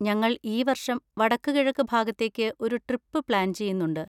ഞങ്ങൾ ഈ വർഷം വടക്കുകിഴക്ക് ഭാഗത്തേക്ക് ഒരു ട്രിപ്പ് പ്ലാൻ ചെയ്യുന്നുണ്ട്.